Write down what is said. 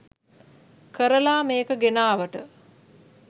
කරලා මේක ගෙනාවට